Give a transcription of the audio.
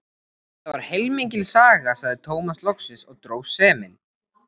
Þetta var heilmikil saga, sagði Tómas loksins og dró seiminn.